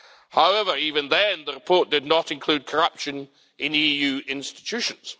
However, even then, the report did not include corruption in EU institutions.